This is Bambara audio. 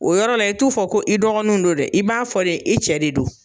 O yɔrɔ la i t'u fɔ ko i dɔgɔnunw don dɛ, i b'a fɔ de i cɛ de don.